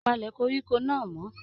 Palẹ koríko náà mọ!